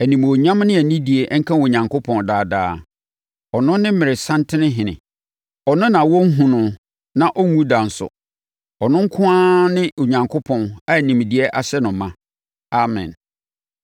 Animuonyam ne anidie nka Onyankopɔn daa daa. Ɔno ne mmerɛsantenhene. Ɔno na wɔnhunu no na ɔnwu da nso. Ɔno nko ara ne Onyankopɔn a nimdeɛ ahyɛ no ma. Amen.